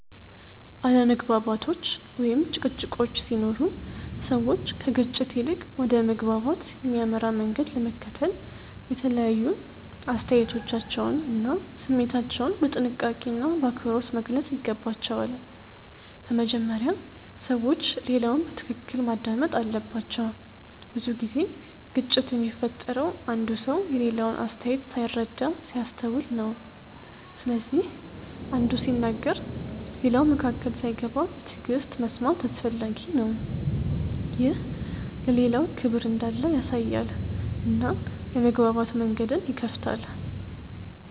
አለመግባባቶች ወይም ጭቅጭቆች ሲኖሩ ሰዎች ከግጭት ይልቅ ወደ መግባባት የሚያመራ መንገድ ለመከተል የተለያዩ አስተያየቶቻቸውን እና ስሜታቸውን በጥንቃቄና በአክብሮት መግለጽ ይገባቸዋል። በመጀመሪያ ሰዎች ሌላውን በትክክል ማዳመጥ አለባቸው። ብዙ ጊዜ ግጭት የሚፈጠረው አንዱ ሰው የሌላውን አስተያየት ሳይረዳ ሲያስተውል ነው። ስለዚህ አንዱ ሲናገር ሌላው መካከል ሳይገባ በትዕግሥት መስማት አስፈላጊ ነው። ይህ ለሌላው ክብር እንዳለ ያሳያል እና የመግባባት መንገድን ይከፍታል.